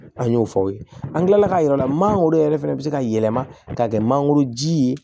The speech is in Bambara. An y'o fɔ aw ye an kilala ka yir'aw la manankoro yɛrɛ fɛnɛ bɛ se ka yɛlɛma ka kɛ mangoro ji ye